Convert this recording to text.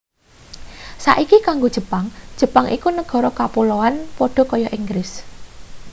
saiki kanggo jepang jepang iku negara kapuloan padha kaya inggris